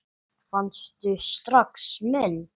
Fannstu strax mun?